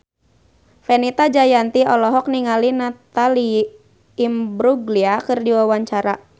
Fenita Jayanti olohok ningali Natalie Imbruglia keur diwawancara